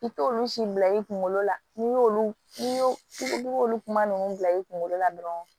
I t'olu si bila i kunkolo la n'i y'olu kuma ninnu bila i kunkolo la dɔrɔn